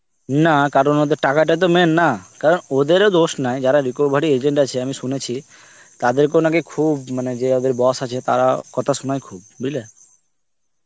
না কারোর মধ্যে টাকা টাই তো main না. কারণ ওদেরও দোষ নাই. যারা recovery agent আছে আমি শুনেছি. তাদেরকেও নাকি খুব মানে যে ওদের boss আছে. তারা কথা শোনায় খুব. বুঝলে?